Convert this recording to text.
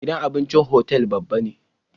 Gidan abincin hotel babba ne